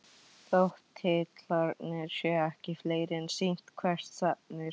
Þótt titlarnir séu ekki fleiri er sýnt hvert stefnir.